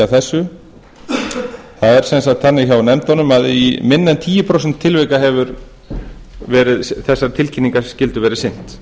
það er sem sagt þannig hjá nefndunum að í minni en tíu prósent tilvika hefur þessari tilkynningaskyldu verið sinnt